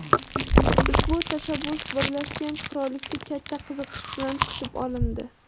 Ushbu tashabbus Birlashgan Qirollikda katta qiziqish bilan kutib olindi.